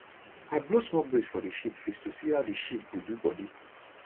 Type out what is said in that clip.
i blow small breeze for the sheep face to see how the sheep go do body